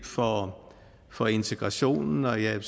for integrationen og jeg er